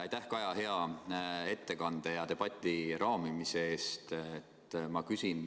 Aitäh, Kaja, hea ettekande ja debati raamimise eest!